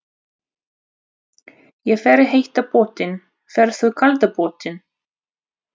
Ég fer í heita pottinn. Ferð þú í kalda pottinn?